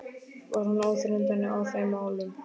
Var hann óþreytandi í þeim málum.